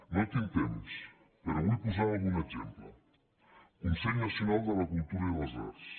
no tinc temps però vull posar algun exemple consell nacional de la cultura i de les arts